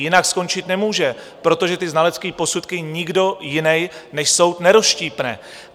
Jinak skončit nemůže, protože ty znalecké posudky nikdo jiný než soud nerozštípne.